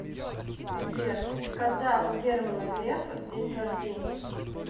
сбер когда у германа грефа день рождения